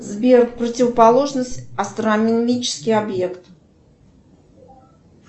сбер противоположность астрономический объект